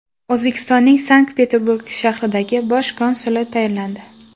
O‘zbekistonning Sankt-Peterburg shahridagi bosh konsuli tayinlandi.